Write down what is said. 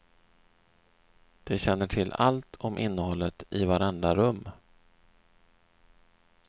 De känner till allt om innehållet i varenda rum.